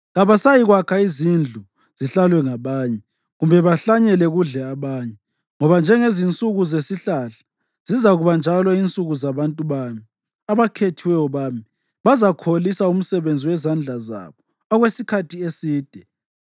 Kabasayikwakha izindlu zihlalwe ngabanye kumbe bahlanyele, kudle abanye. Ngoba njengezinsuku zesihlahla, zizakuba njalo insuku zabantu bami; abakhethiweyo bami bazakholisa umsebenzi wezandla zabo okwesikhathi eside.